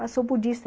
Ah sou budista.